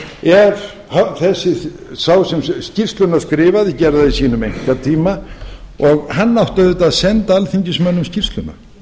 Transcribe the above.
ekki til alþingis ef sá sem skýrsluna skrifaði gerði það í sínum einkatíma hann átti auðvitað að senda alþingismönnum skýrsluna